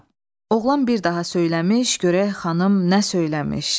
Oğlan bir daha söyləmiş, görək xanım nə söyləmiş.